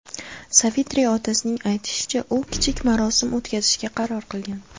Savitri otasining aytishicha, u kichik marosim o‘tkazishga qaror qilgan.